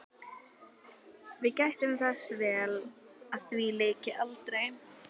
Við gættum þess vel að því lyki aldrei.